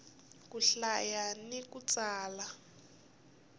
ku hlaya ni ku tsala